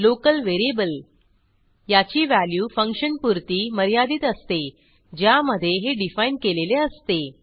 local variable याची value फंक्शनपुरती मर्यादित असते ज्यामधे हे डिफाईन केलेले असते